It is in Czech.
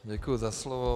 Děkuji za slovo.